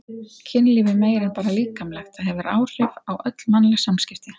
Kynlíf er meira en bara líkamlegt, það hefur áhrif á öll mannleg samskipti.